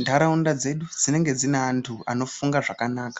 ntaraunda dzedu dzinenge dzine antu anofunga zvakanaka.